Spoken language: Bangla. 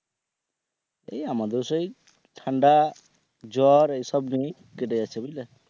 এই আমাদের সেই ঠান্ডা জ্বর এসব জিনিস কেটে যাচ্ছে বুঝলে?